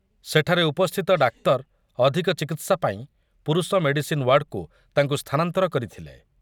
ସେଠାରେ ଉପସ୍ଥିତ ଡାକ୍ତର ଅଧୂକ ଚିକିତ୍ସା ପାଇଁ ପୁରୁଷ ମେଡିସିନ୍ ୱାର୍ଡକୁ ତାଙ୍କୁ ସ୍ଥାନାନ୍ତର କରିଥିଲେ ।